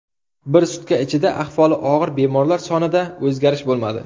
Bir sutka ichida ahvoli og‘ir bemorlar sonida o‘zgarish bo‘lmadi.